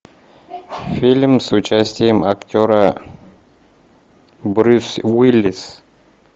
фильм с участием актера брюс уиллис